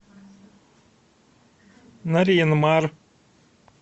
нарьян мар